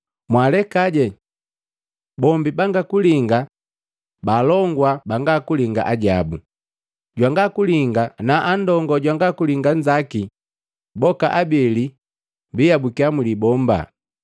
Mwaalekaje! Bombi bangalinga, baalongosa bangalinga ajabu, Jwangalinga na andongo jwangalinga jongi, boka abeli baabukiya mulibomba.”